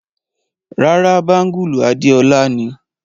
Ràrá, bangulu Adéọla ni.